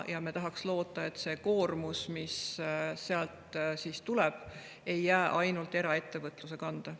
Me tahaks loota, et see koormus, mis sealt tuleb, ei jää ainult eraettevõtluse kanda.